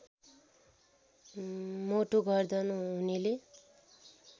मोटो गर्दन हुनेले